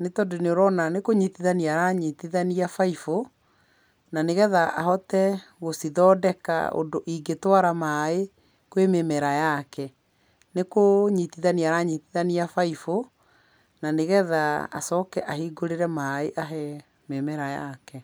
nĩ tondũ nĩũrona nĩkũnyitithania aranyitithania baibũ, na nĩgetha ahote gũcithondeka ũndũ ingĩtwara maaĩ kwĩ mĩmera yake. Nĩkũnyitithania aranyitithania baibũ na nĩgetha acoke ahingũrĩre maaĩ ahee mĩmera yake.